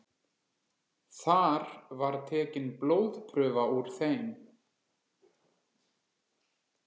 Þar var tekin blóðprufa úr þeim